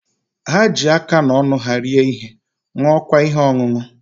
Ha ji aka na ọnụ ha rie ihe, ṅụọkwa ihe ọṅụṅụ.